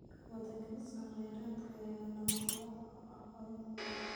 Wadaagista kheyraadka ayaa lama huraan u ah koritaanka.